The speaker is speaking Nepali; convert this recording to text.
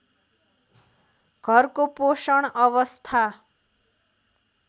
घरको पोषण अवस्था